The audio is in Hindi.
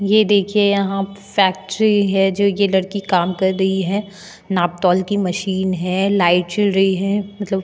ये देखिए यहा फैक्ट्री है जो यह लड़की काम कर रही है नापतोल की मशीन है लाइट जल रही है मतलब --